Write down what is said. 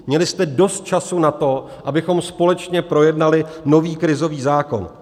Měli jste dost času na to, abychom společně projednali nový krizový zákon.